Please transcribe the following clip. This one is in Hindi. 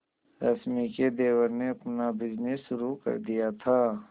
रश्मि के देवर ने अपना बिजनेस शुरू कर दिया था